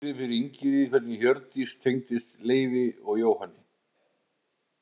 Hann útskýrði fyrir Ingiríði hvernig Hjördís tengdist Leifi og Jóhanni.